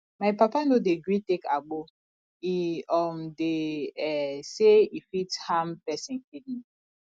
my papa no dey gree take agbo e um dey um sey e fit harm pesin kidney